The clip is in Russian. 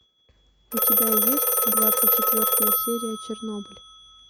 у тебя есть двадцать четвертая серия чернобыль